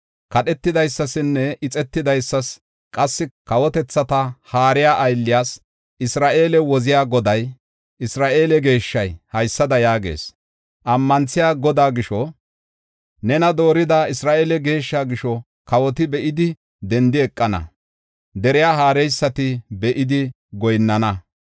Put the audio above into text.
Kadhetidaysasinne ixetidaysas qassi kawotethata haariya aylliyas, Isra7eele woziya Goday, Isra7eele Geeshshay haysada yaagees; Ammanthiya Godaa gisho, nena doorida Isra7eele Geeshsha gisho kawoti be7idi dendi eqana; deriya haareysati be7idi goyinnana.